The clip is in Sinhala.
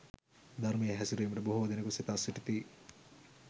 ධර්මයේ හැසිරීමට බොහෝ දෙනෙකු සිතා සිටිති.